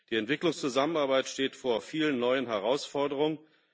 Die Entwicklungszusammenarbeit steht vor vielen neuen Herausforderungen.